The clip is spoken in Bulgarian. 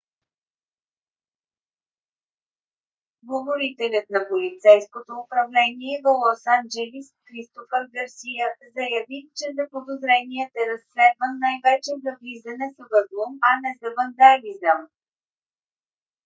говорителят на полицейското управление в лос анджелис кристофър гарсия заяви че заподозреният е разследван най-вече за влизане с взлом а не за вандализъм